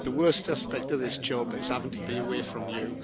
The worst aspect of this job is having to be away from you.